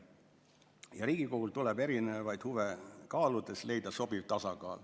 Ja Riigikogul tuleb erinevaid huve kaaludes leida sobiv tasakaal.